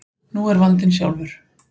Nú er vandinn sjálfur.